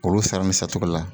Olu sara ni satogo la